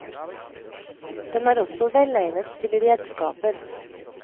Den er også velegnet til redskaper.